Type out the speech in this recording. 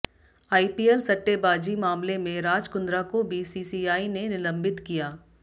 IPL सट्टेबाजी मामले में राज कुंद्रा को बीसीसीआई ने निलंबित किया